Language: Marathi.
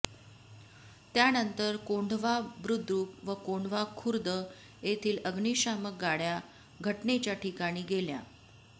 त्यानंतर कोंढवा बुदृक व कोंढवा खुर्द येथील अग्निशामक गाड्या घटनेच्या ठिकाणी गेल्या